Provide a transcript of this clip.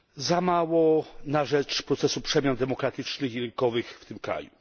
Za mało na rzecz procesu przemian demokratycznych i rynkowych w tym kraju.